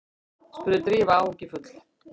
spurði Drífa áhyggjufull.